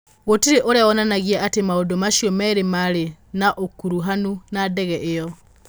Gũtirĩ ũira wonanagia atĩ maũndũ macio merĩ maarĩ na ũkuruhanu na ndege ĩyo